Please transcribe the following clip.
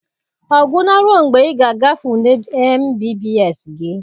Ọ gwụla ruo mgbe ị ga-agafe ule MBBS gị.